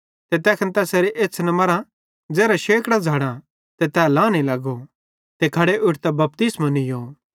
ते तैखन तैसेरे एछ़्छ़न मरां ज़ेरां शेकड़ां झ़ड़ां ते तै लहने लगो ते खड़े उठतां बपतिस्मो नीयो